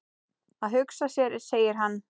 Að hugsa sér segir hann.